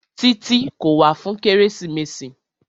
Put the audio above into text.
Títí kò wá fún kérésìmesì.